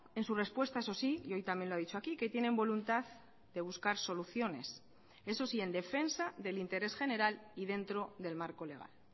en su respuesta eso sí y hoy también lo ha dicho aquí que tienen voluntad de buscar soluciones eso sí en defensa del interés general y dentro del marco legal